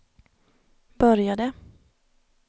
började